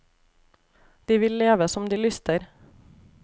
De vil leve som de lyster.